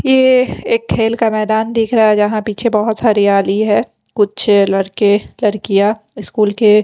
ये एक खेल का मैदान दिख रहा है जहाँ पीछे बहुत हरियाली है कुछ लड़के लड़कियाँ स्कूल के --